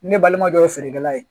Ne balima dɔ ye feerekɛla ye